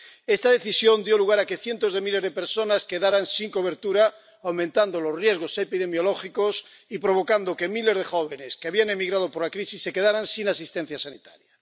Esta decisión dio lugar a que cientos de miles de personas quedaran sin cobertura, aumentando los riesgos epidemiológicos y provocando que miles de jóvenes, que habían emigrado por la crisis, se quedaran sin asistencia sanitaria.